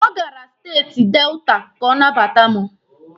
O gara steeti Delta ka ọ nabata mụ